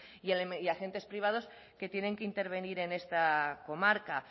y a agentes privados que tienen que intervenir en esta comarca